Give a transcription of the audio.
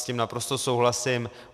S tím naprosto souhlasím.